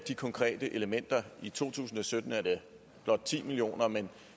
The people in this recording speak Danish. de konkrete elementer i to tusind og sytten er det blot ti million kr men